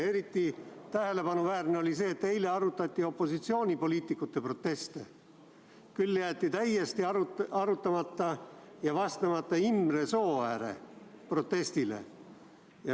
Eriti tähelepanuväärne oli see, et eile arutati opositsioonipoliitikute proteste, küll aga jäeti täiesti vastamata Imre Sooääre protestile.